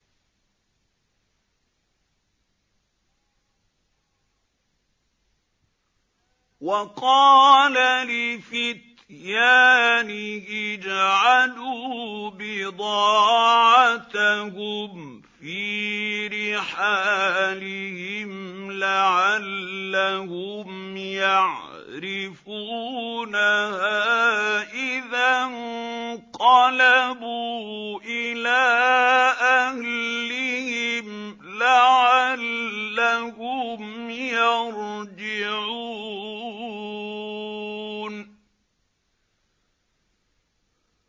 وَقَالَ لِفِتْيَانِهِ اجْعَلُوا بِضَاعَتَهُمْ فِي رِحَالِهِمْ لَعَلَّهُمْ يَعْرِفُونَهَا إِذَا انقَلَبُوا إِلَىٰ أَهْلِهِمْ لَعَلَّهُمْ يَرْجِعُونَ